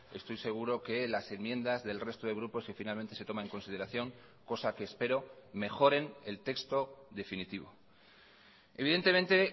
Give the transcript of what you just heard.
estoy seguro que las enmiendas del resto de grupos si finalmente se toma en consideración cosa que espero mejoren el texto definitivo evidentemente